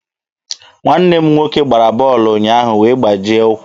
Nwanne m nwoke gbara bọọlụ ụnyaahụ wee gbajie ụkwụ.